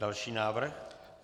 Další návrh.